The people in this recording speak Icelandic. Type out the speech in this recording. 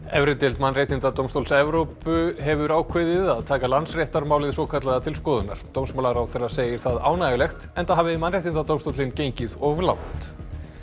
efri deild Mannréttindadómstóls Evrópu hefur ákveðið að taka Landsréttarmálið svokallaða til skoðunar dómsmálaráðherra segir það ánægjulegt enda hafi Mannréttindadómstóllinn gengið of langt